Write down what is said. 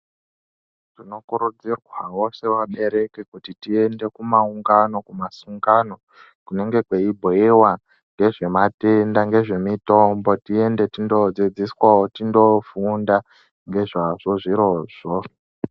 Tinokurudzirwawo sevabereki kuti tiende kumaungano kumazungano kunenge kweibhuyiwa ngezvematenda ngezvemitombo tiende tindoodzidziswa tindoofunda ngezvazvo zvirozvo